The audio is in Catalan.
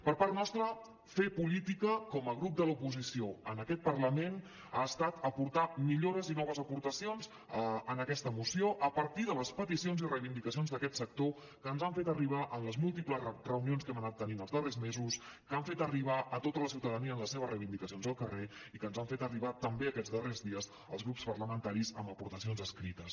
per part nostra fer política com a grup de l’oposició en aquest parlament ha estat aportar millores i noves aportacions en aquesta moció a partir de les peticions i reivindicacions d’aquest sector que ens han fet arribar en les múltiples reunions que hem anat tenint els darrers mesos que han fet arribar a tota la ciutadania amb les seves reivindicacions al carrer i que ens han fet arribar també aquests darrers dies als grups parlamentaris amb aportacions escrites